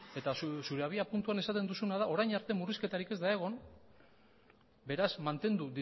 eta zure abiapuntuan esaten duzuna da orain arte murrizketarik ez da egon beraz mantendu